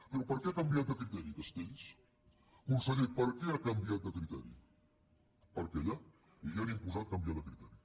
però per què ha canviat de criteri castells conseller per què ha canviat de criteri perquè allà li han imposat canviar de criteri